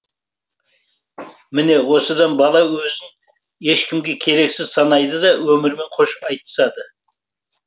міне осыдан бала өзін ешкімге керексіз санайды да өмірімен қош айтысады